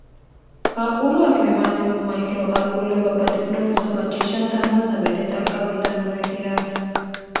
qaaquullu akimimaatinumma ikkino qaaquulle babbaxxitinoxisso macciishshantannonsa woyite xagga wiitannoreeti yaate